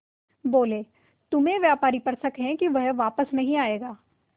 बोले तुम्हें व्यापारी पर शक है कि वह वापस नहीं आएगा